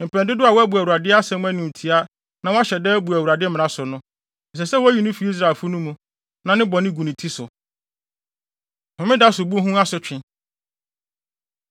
Mpɛn dodow a wabu Awurade asɛm animtiaa na wahyɛ da abu Awurade mmara so no, ɛsɛ sɛ woyi no fi Israelfo no mu; na ne bɔne gu ne ti so.’ ” Homeda Sobu Ho Asotwe